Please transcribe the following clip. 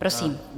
Prosím.